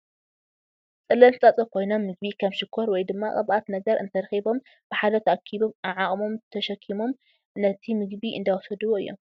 ፀለምቲ ፃፀ ኮይኖም ምግቢ ከም ሽኮር ወይ ድማ ቅብኣት ነገር እንትረኪቦም ብሓደ ተኣኪቦም ዓዓቅሞም ተሸኪቦም ነቲ ምግቢ እንዳወሰድዎ እዮም ።